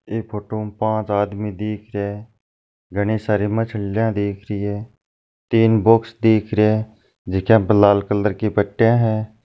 ये फोटो पाँच आदमी दिख रहे हैं घनी सारी मछलियां दिख रही है तीन बॉक्स दिख रहे हैं जिनमै लाल रंग की पटिया है।